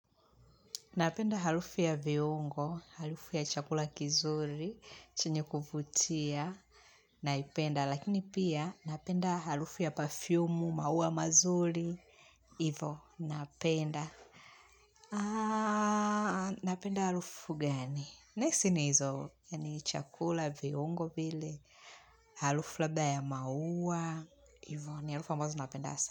Napenda harufu ya viungo, harufu ya chakula kizuri, chenye kuvutia, naipenda, lakini pia napenda harufu ya pafiumu, maua mazuri, hivo, napenda. Aaaa, napenda harufu gani? Nahisi ni hizo, ni chakula, viungo vile, harufu labda ya maua, hivo, ni harufu ambazo napenda sana.